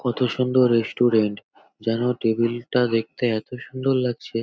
কত সুন্দর রেস্টুরেন্ট । যেন টেবিল -টা দেখতে এত সুন্দর লাগছে ।